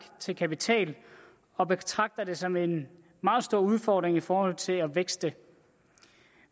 til kapital og betragter det som en meget stor udfordring i forhold til at vækste